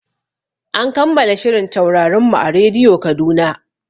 An kammala shirin Taurarin mu a radiyo Kaduna.